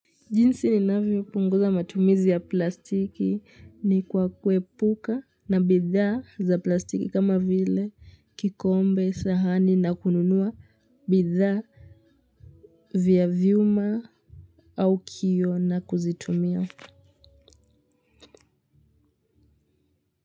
Jinsi ninavyopunguza matumizi ya plastiki ni kwa kuepuka na bidhaa za plastiki kama vile kikombe, sahani na kununua bidhaa vya vyuma au kioo na kuzitumia.